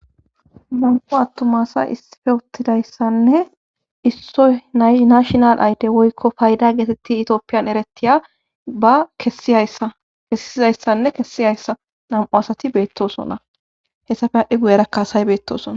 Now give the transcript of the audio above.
mam7u attumasa issife wottidayssanne issoy nay nashinal ayde woykko payda geetetti itioopiyan eretiya ba akessizayssanne kessi hayssa nam7u asati beettosona hessafe adhdhi guyera kaasay beettosona